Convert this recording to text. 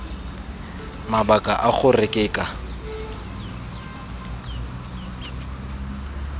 mabaka a gore ke ka